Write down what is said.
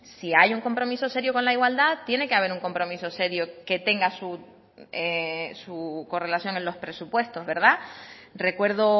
si hay un compromiso serio con la igualdad tiene que haber un compromiso serio que tenga su correlación en los presupuestos verdad recuerdo